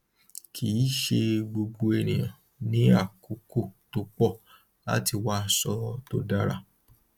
kì í ṣe gbogbo ènìyàn ní àkókò tó pọ láti wá aṣọ to dára